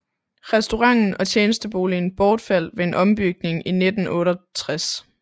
Restauranten og tjenesteboligen bortfaldt ved en ombygning i 1968